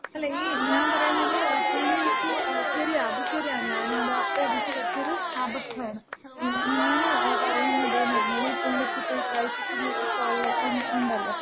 അല്ല ഈ ഞാൻ പറയണത്, പുള്ളിക്ക് ശെരിയാ അത് ശെരിയ. ഞാന് അത്, അപ്പെനിക്ക് പറ്റിയൊരു അബദ്ധാണ്. ഞാന് പറയുന്നത്ന്ന് പറഞ്ഞാല് ഈ പുള്ളിക്ക് ഈ ക്രൈസിസ് ഒള്ള ഒക്ക ഒണ്ടല്ലോ.